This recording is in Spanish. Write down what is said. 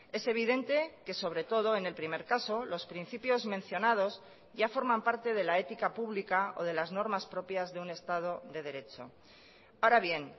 es evidente que sobre todo en el primer caso los principios mencionados ya forman parte de la ética pública o de las normas propias de un estado de derecho ahora bien